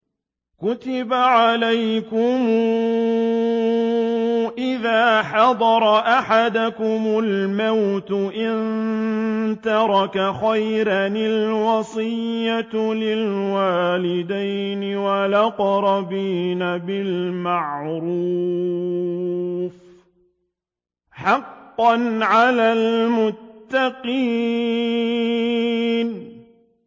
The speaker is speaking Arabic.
كُتِبَ عَلَيْكُمْ إِذَا حَضَرَ أَحَدَكُمُ الْمَوْتُ إِن تَرَكَ خَيْرًا الْوَصِيَّةُ لِلْوَالِدَيْنِ وَالْأَقْرَبِينَ بِالْمَعْرُوفِ ۖ حَقًّا عَلَى الْمُتَّقِينَ